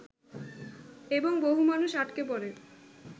এবং বহু মানুষ আটকে পড়ে